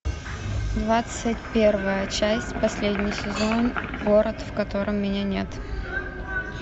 двадцать первая часть последний сезон город в котором меня нет